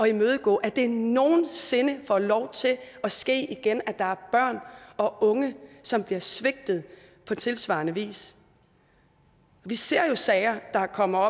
imødegå at det nogen sinde får lov til at ske igen at der er børn og unge som bliver svigtet på tilsvarende vis vi ser jo sager der kommer